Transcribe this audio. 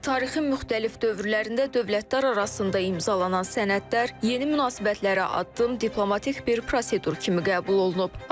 Tarixin müxtəlif dövrlərində dövlətlər arasında imzalanan sənədlər yeni münasibətlərə addım, diplomatik bir prosedur kimi qəbul olunub.